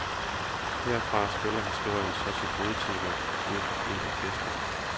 Herfra spiller historien så sit hovedtema ud for fuldt orkester.